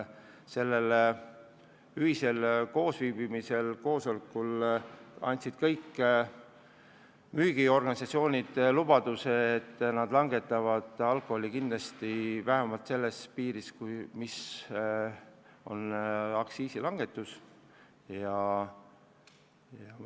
Sellel ühisel koosolekul andsid kõik müügiorganisatsioonid lubaduse, et nad langetavad alkoholi hinda kindlasti vähemalt aktsiisilanguse võrra.